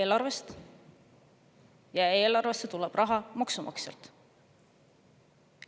Eelarvest, ja eelarvesse tuleb raha maksumaksjalt.